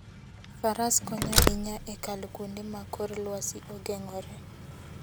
Faras konyo ahinya e kalo kuonde ma kor lwasi ogeng'ore.